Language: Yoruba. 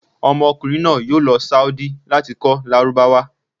Ọmọkunrin naa yoo lọ saodi lati kọ lárúbáwá